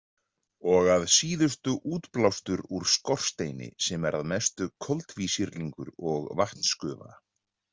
Og að síðustu útblástur úr skorsteini sem er að mestu koltvísýrlingur og vatnsgufa.